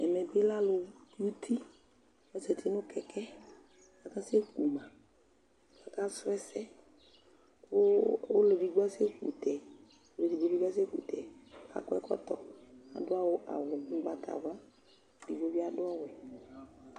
Ɛmɛ bɩ lɛ alʋ ki uti Ɔzati nʋ kɛkɛ kʋ akasɛku ma kʋ akasʋ ɛsɛ kʋ ɔlʋ edigbo asɛku tɛ, ɔlʋ edigbo bɩ asɛku tɛ Akɔ ɛkɔtɔ, adʋ awʋ ʋgbatawla, edigbo bɩ adʋ ɔwɛ